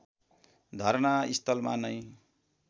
धर्ना स्थलमा नै